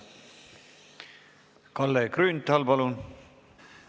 Kalle Grünthal, palun!